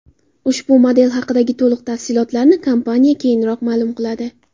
Ushbu model haqidagi to‘liq tafsilotlarni kompaniya keyinroq ma’lum qiladi.